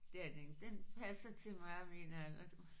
Det er den ikke den passer til mig og min alder du